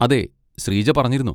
അതെ ശ്രീജ പറഞ്ഞിരുന്നു.